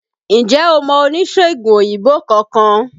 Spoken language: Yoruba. Ǹjẹ́ o mọ oníṣègùn òyìnbó kankan?